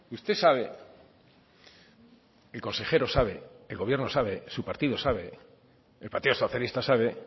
usted sabe el consejero sabe el gobierno sabe su partido sabe el partido socialista sabe